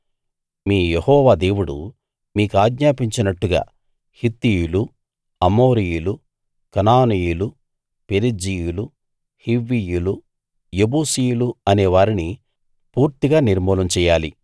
మీ యెహోవా దేవుడు మీ కాజ్ఞాపించినట్టుగా హీత్తీయులు అమోరీయులు కనానీయులు పెరిజ్జీయులు హివ్వీయులు యెబూసీయులు అనే వారిని పూర్తిగా నిర్మూలం చెయ్యాలి